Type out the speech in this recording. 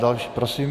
Další, prosím.